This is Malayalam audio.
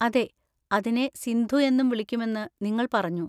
അതെ, അതിനെ സിന്ധു എന്നും വിളിക്കുമെന്ന് നിങ്ങൾ പറഞ്ഞു.